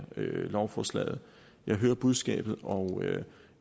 lovforslaget jeg hører budskabet og